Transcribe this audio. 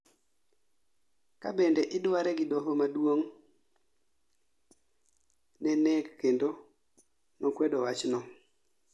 Kabende idware gi doho maduong' ne nek bende nokwedo wachno